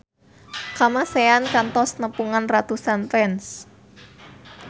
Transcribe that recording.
Kamasean kantos nepungan ratusan fans